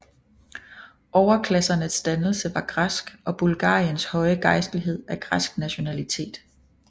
Overklassernes dannelse var græsk og Bulgariens høje gejstlighed af græsk nationalitet